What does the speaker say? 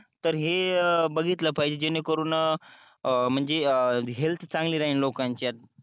तर हे बघितलं पाहिजे जेणेकरून म्हणजे हेल्थ चांगली राहील लोकांची